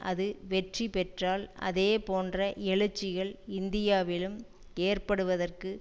அது வெற்றி பெற்றால் அதே போன்ற எழுச்சிகள் இந்தியாவிலும் ஏற்படுவதற்கு